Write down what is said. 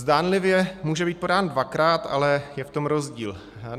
Zdánlivě může být podán dvakrát, ale je v tom rozdíl.